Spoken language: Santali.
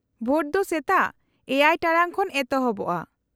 -ᱵᱷᱳᱴ ᱫᱚ ᱥᱮᱛᱟᱜ ᱗ ᱴᱟᱲᱟᱝ ᱠᱷᱚᱱ ᱮᱛᱚᱦᱚᱵᱼᱟ ᱾